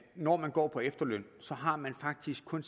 når man går på efterløn har man faktisk kun